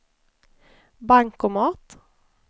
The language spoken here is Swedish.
bankomat